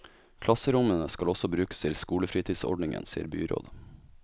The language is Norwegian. Klasserommene skal også brukes til skolefritidsordningen, sier byrådet.